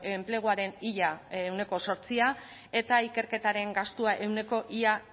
enpleguaren ia ehuneko zortzia eta ikerketaren gastua ia ehuneko